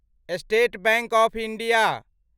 state bank of India